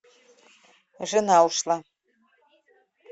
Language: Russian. жена ушла